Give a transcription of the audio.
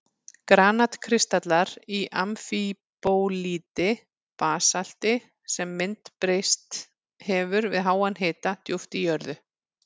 Granat-kristallar í amfíbólíti, basalti sem myndbreyst hefur við háan hita djúpt í jörðu.